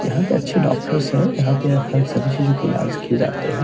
यहां पे अच्छे डॉक्टर्स हैं | यहाँ पे हर सभी चीजों का इलाज किये जाते हैं ।